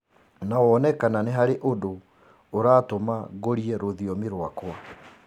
na wone kana nĩ harĩ ũndũ ũratũma ngũrie rũthiomi rwakwa